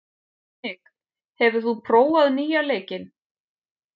Dominik, hefur þú prófað nýja leikinn?